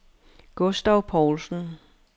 Gustav Povlsen